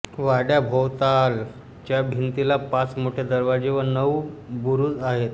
वाड्याभोवतालच्या भिंतीला पाच मोठे दरवाजे व नऊ बुरूज आहेत